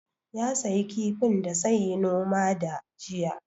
Ya sayi kifin da sai yi noma da jiya